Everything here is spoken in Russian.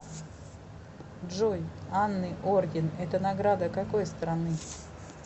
джой анны орден это награда какой страны